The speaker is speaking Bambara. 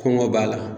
Kɔngɔ b'a la